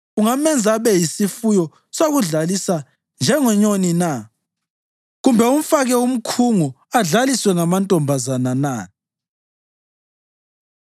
Ungamenza abe yisifuyo sokudlalisa njengenyoni na kumbe umfake umkhungo adlaliswe ngamantombazana na?